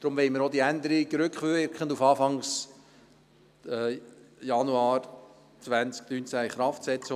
Deshalb wollen wir diese Änderung auch rückwirkend auf Anfang Januar 2019 in Kraft setzen.